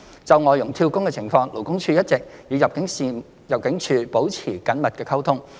就外傭"跳工"的情況，勞工處一直與入境處保持緊密溝通。